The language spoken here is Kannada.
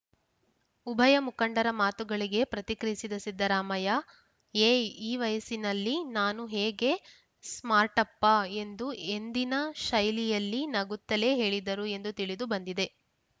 ಉಭಯ ಮುಖಂಡರ ಮಾತುಗಳಿಗೆ ಪ್ರತಿಕ್ರಿಯಿಸಿದ ಸಿದ್ದರಾಮಯ್ಯ ಏಯ್‌ ಈ ವಯಸ್ಸಲ್ಲಿ ನಾನು ಹೇಗೆ ಸ್ಮಾರ್ಟಪ್ಪಾ ಎಂದು ಎಂದಿನ ಶೈಲಿಯಲ್ಲಿ ನಗುತ್ತಲೇ ಹೇಳಿದರು ಎಂದು ತಿಳಿದು ಬಂದಿದೆ